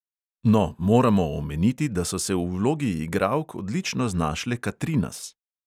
No, moramo omeniti, da so se v vlogi igralk odlično znašle katrinas.